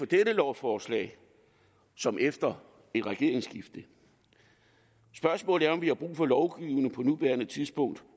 dette lovforslag som efter et regeringsskifte spørgsmålet er om vi har brug for lovgivning på nuværende tidspunkt